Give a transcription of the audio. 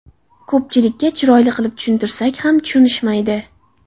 Ko‘pchilikka chiroyli qilib tushuntirsak ham tushunishmaydi.